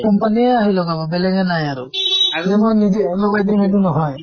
company য়ে আহি লগাব, বেলেগে নাহে আৰু । আৰু মই নিজে লগাই দিম সেইটো নহয়